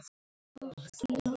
sagði hann í símann.